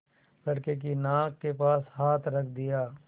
लड़के की नाक के पास हाथ रख दिया